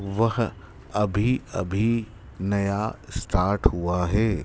वह अभी अभी नया स्टार्ट हुआ है।